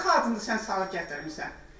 O nə qadındır sən salıb gətirmisən.